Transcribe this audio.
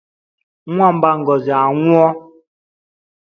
Nwamba Ngozi anwụọ?